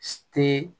Te